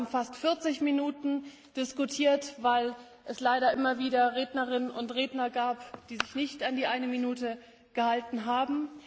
Wir haben fast 40 Minuten diskutiert, weil es leider immer wieder Rednerinnen und Redner gab, die sich nicht an die eine Minute gehalten haben.